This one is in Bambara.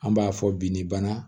An b'a fɔ bi ni bana